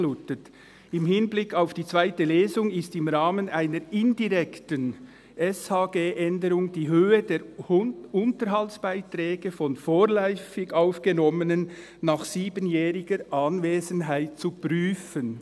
«Im Hinblick auf die zweite Lesung ist im Rahmen einer indirekten SHG-Änderung die Höhe der Unterhaltsbeiträge von ‹Vorläufig Aufgenommenen (VA)› nach 7jähriger Anwesenheit zu prüfen.